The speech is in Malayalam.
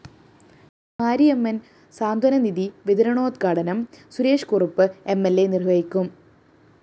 മാരിയമ്മന്‍ സ്വാന്തനനിധി വിതരണോദ്ഘാടനം സുരേഷ്‌കുറുപ്പ് എം ൽ അ നിര്‍വഹിക്കും